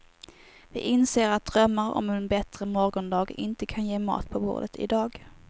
Vi inser att drömmar om en bättre morgondag inte kan ge mat på bordet i dag.